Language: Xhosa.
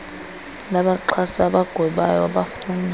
labaxhasi abagwebayo abafunwa